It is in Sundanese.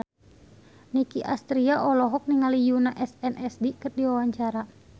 Nicky Astria olohok ningali Yoona SNSD keur diwawancara